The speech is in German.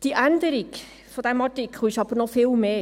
Die Änderung dieses Artikels ist aber noch viel mehr: